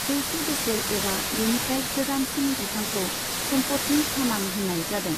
जौसे बोसोर एबा बेनिफ्राय गोजामसिन बिफांखौ सम्फदनि थामान होनाय जादों।